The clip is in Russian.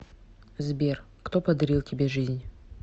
сбер кто подарил тебе жизнь